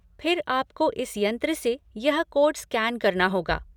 फिर आपको इस यंत्र से यह कोड स्कैन करना होगा।